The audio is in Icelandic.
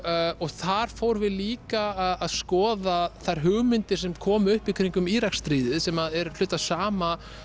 þar fórum við líka að skoða þær hugmyndir sem komu upp í kringum Íraksstríðið sem er hluti af sama